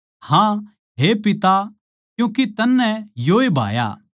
हाँ हे पिता क्यूँके तन्नै योए भाया